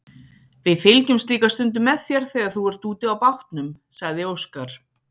Við fylgjumst líka stundum með þér þegar þú ert úti á bátnum, sagði Óskar.